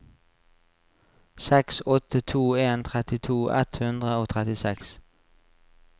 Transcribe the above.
seks åtte to en trettito ett hundre og trettiseks